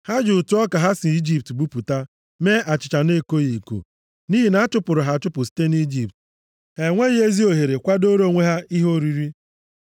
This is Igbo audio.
Ha ji ụtụ ọka ha si Ijipt buputa mee achịcha na-ekoghị eko. Nʼihi na a chụpụrụ ha achụpụ site nʼIjipt, ha enweghị ezi ohere kwadooro onwe ha ihe oriri.